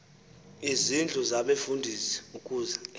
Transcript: izindlu zabefundisi ukuze